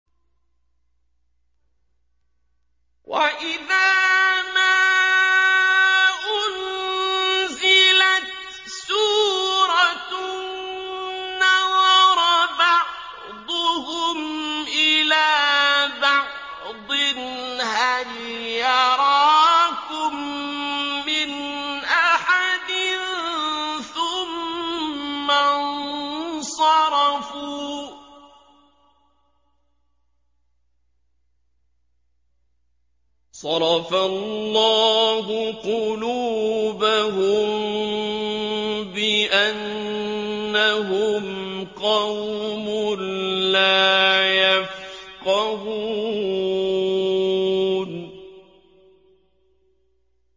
وَإِذَا مَا أُنزِلَتْ سُورَةٌ نَّظَرَ بَعْضُهُمْ إِلَىٰ بَعْضٍ هَلْ يَرَاكُم مِّنْ أَحَدٍ ثُمَّ انصَرَفُوا ۚ صَرَفَ اللَّهُ قُلُوبَهُم بِأَنَّهُمْ قَوْمٌ لَّا يَفْقَهُونَ